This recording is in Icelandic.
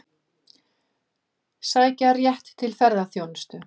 Sækja rétt til ferðaþjónustu